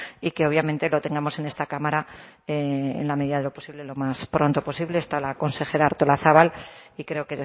y que obviamente lo tengamos en esta cámara en la medida de lo posible lo más pronto posible está la consejera artolazabal y creo